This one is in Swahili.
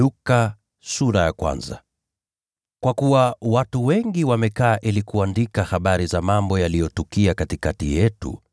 Kwa kuwa watu wengi wamekaa ili kuandika habari za mambo yaliyotukia katikati yetu,